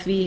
því